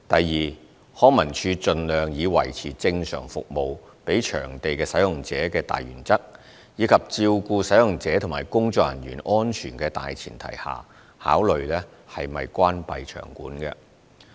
二康文署盡量以維持正常服務給場地使用者的大原則，以及照顧使用者及工作人員安全的大前提下，考慮是否關閉場館。